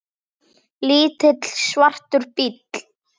Lítill, svartur bíll.